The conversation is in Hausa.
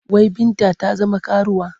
Wai Binta ta zama karuwa?